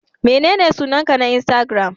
Menene sunanka na insatigiram?